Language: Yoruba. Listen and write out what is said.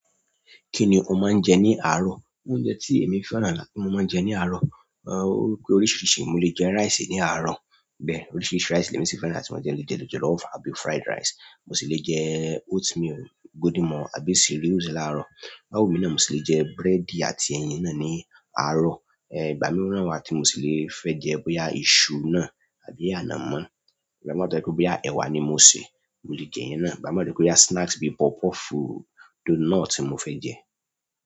Kí ni o máa ń jẹ ní àárọ̀? Oúnjẹ tí èmi fẹ́ràn tí mo máa ń jẹ ní àárọ̀, ó pé oríṣìíríṣìí. Mo lè jẹ rice ní àárọ̀. Bẹ́ẹ̀, oríṣiríṣi rice lèmi sì fẹ́ràn láti máa jẹ, mo lè jẹ jollof àbí fried rice. Mo sì lè jẹ oatmeal, Golden Morn, àbí cereals láàárọ̀. Bó bá wù mí náà mo sì lè jẹ búrẹ́dì àti ẹyin náà ní àárọ̀. Ìgbà mìíràn wà tí mo sì lè fẹ́ jẹ bóyá iṣu náà àbí ànàmọ́. Ìgbà míì wà tó jẹ́ pé bóyá ẹwà ni mo sè, mo lè jẹ̀yẹn náà. Ìgbà míì tó jẹ́ pé bóya snacks bí i puff puff, donut ni mo fẹ́ jẹ.